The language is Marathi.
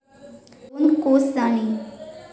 दोन कोस जाणे